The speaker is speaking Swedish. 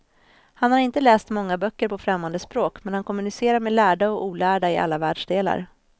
Han har inte läst många böcker på främmande språk, men han kommunicerar med lärda och olärda i alla världsdelar.